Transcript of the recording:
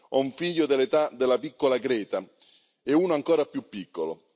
Ho un figlio dell'età della piccola Greta e uno ancora più piccolo.